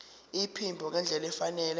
iphimbo ngendlela efanele